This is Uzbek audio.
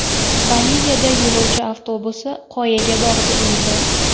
Boliviyada yo‘lovchi avtobusi qoyaga borib urildi.